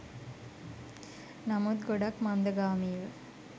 නමුත් ගොඩක් මන්දගාමීව.